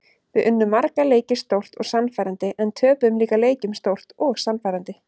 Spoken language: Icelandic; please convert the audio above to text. Við unnum marga leiki stórt og sannfærandi en töpuðum líka leikjum stórt og sannfærandi.